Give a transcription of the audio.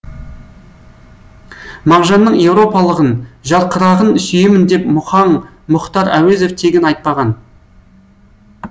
мағжанның еуропалығын жарқырағын сүйемін деп мұхаң мұхтар әуезов тегін айтпаған